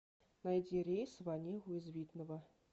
найди рейс в онегу из видного